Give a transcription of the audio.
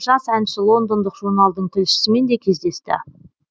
жас әнші лондондық журналдың тілшісімен де кездесті